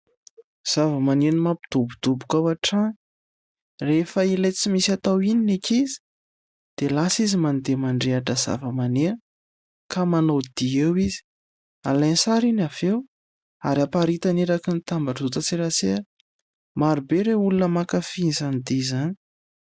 Zava-maneno mampidobodoka ao an-trano, rehefa ilay tsy misy atao iny ny ankizy dia lasa izy mandeha mandrehitra zava-maneno ka manao dihy eo izy, alainy sary iny avy eo ary aparitany eraky ny tambajotran-tserasera, marobe ireo olona mankafy izany dihy izany.